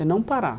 É não parar.